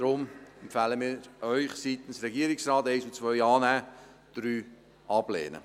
Deshalb empfehlen wir Ihnen seitens des Regierungsrates: Punkt 1 und 2 annehmen, Punkt 3 ablehnen.